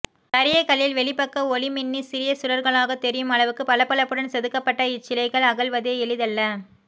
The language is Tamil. கரிய கல்லில் வெளிபக்க ஒளி மின்னி சிறிய சுடர்களாகத் தெரியும் அளவுக்கு பளபளப்புடன் செதுக்கப்பட்ட இச்சிலைகள் அகல்வதே எளிதல்ல